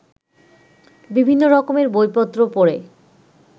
বিভিন্ন রকমের বইপত্র পড়ে